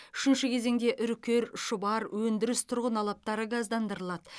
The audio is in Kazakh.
үшінші кезеңде үркер шұбар өндіріс тұрғын алаптары газдандырылады